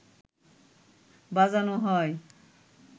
বাজানো হয়